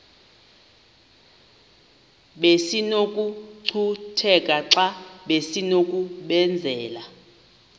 besinokucutheka xa besinokubenzela